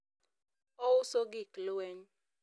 ouso gik lweny